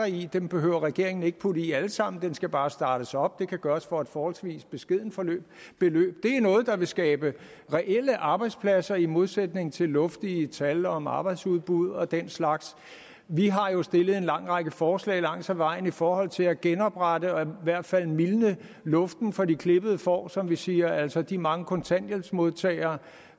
i dem behøver regeringen ikke putte i alle sammen den skal bare startes op og det kan gøres for et forholdsvis beskedent beløb det er noget der vil skabe reelle arbejdspladser i modsætning til luftige tal om arbejdsudbud og den slags vi har jo stillet en lang række forslag langs ad vejen i forhold til at genoprette og i hvert fald mildne luften for de klippede får som vi siger altså de mange kontanthjælpsmodtagere